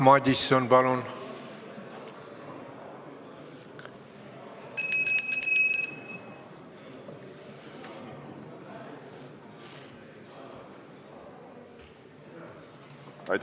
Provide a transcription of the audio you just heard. Jaak Madison, palun!